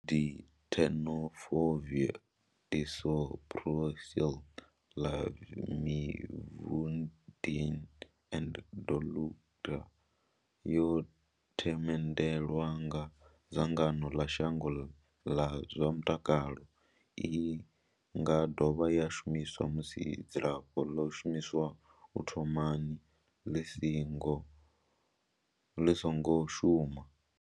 TLD Tenofovir disoproxil, Lamivudine and dolutegravir yo themendelwa nga dzangano ḽa shango ḽa zwa mutakalo. I nga dovha ya shumiswa musi dzilafho ḽo shumiswaho u thomani ḽi songo shuma.